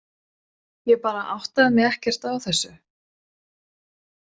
Ég bara áttaði mig ekkert á þessu.